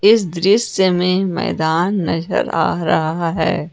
इस दृश्य में मैदान नजर आ रहा है।